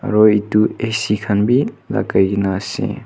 aru etu ac khan bhi lakhai kina ase.